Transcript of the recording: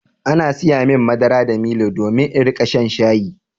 An saya min madara da milo domin in riƙa shan shayi.